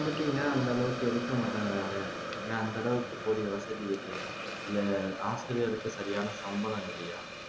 அந்த அளவுக்கு எடுக்க மாட்டேங்கிறாங்க ஏன் அந்த அளவுக்கு போதிய வசதி இல்லையா இல்ல ஆசிரியருக்கு சரியான சம்பளம் இல்லையா